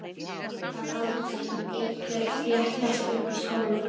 Það hafði einhver frétt þetta uppi í skóla.